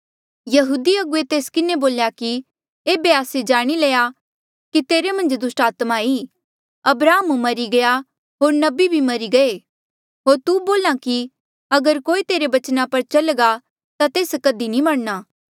यहूदी अगुवे तिन्हा किन्हें बोल्या कि एेबे आस्से जाणी लया कि तेरे मन्झ दुस्टात्मा ई अब्राहम मरी गया होर नबी बी मरी गये होर तू बोल्हा कि अगर कोई तेरे बचना पर चल्घा ता तेस कधी नी मरणा